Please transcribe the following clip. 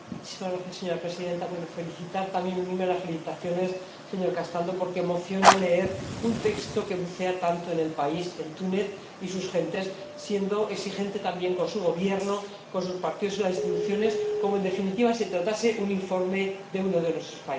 Señora Presidenta, deseo felicitar y también unirme a las felicitaciones, señor Castaldo, porque emociona leer un texto que bucea tanto en el país, en Túnez y sus gentes, siendo exigente también con su Gobierno, con sus partidos y las instituciones, como si, en definitiva, se tratase de un informe de uno de nuestros países.